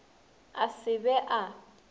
a se a be a